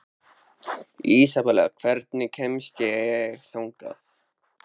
Ísabella, hvernig kemst ég þangað?